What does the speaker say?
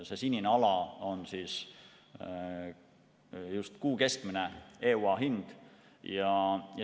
See sinine ala on just kuu keskmine EUA hind.